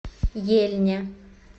ельня